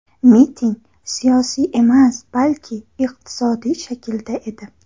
Miting siyosiy emas, balki iqtisodiy shaklda edi.